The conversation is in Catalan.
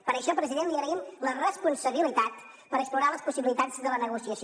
per això president li agraïm la responsabilitat per explorar les possibilitats de la negociació